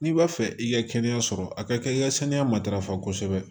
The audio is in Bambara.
N'i b'a fɛ i ka kɛnɛya sɔrɔ a ka kan i ka saniya matarafa kosɛbɛ